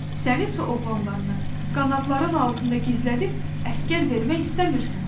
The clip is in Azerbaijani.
Səni isə oğlanlarını qanadların altında gizlədib əsgər vermək istəmirsən.